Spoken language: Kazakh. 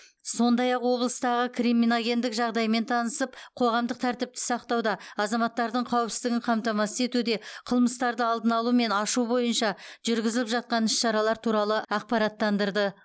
сондай ақ облыстағы криминогендік жағдаймен таныстырып қоғамдық тәртіпті сақтауда азаматтардың қауіпсіздігін қамтамасыз етуде қылмыстарды алдын алу мен ашу бойынша жүргізіліп жатқан іс шаралар туралы ақпараттандырды